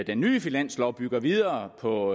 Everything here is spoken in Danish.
den nye finanslov bygger videre på